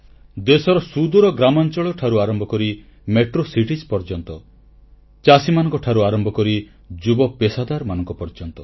ଦେଶର ସୁଦୂର ଗ୍ରାମାଂଚଳଠାରୁ ଆରମ୍ଭ କରି ମେଟ୍ରୋ ନଗରୀ ପର୍ଯ୍ୟନ୍ତ ଚାଷୀମାନଙ୍କଠାରୁ ଆରମ୍ଭ କରି ଯୁବ ପେଶାଦାରମାନଙ୍କ ପର୍ଯ୍ୟନ୍ତ